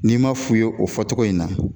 N'i ma f'u ye o fɔcogo in na